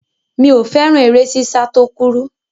Mi ò fẹ́ràn eré sísá tó kúrú.